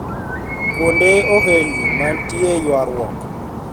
Kuonde ohelni manetie ywaruok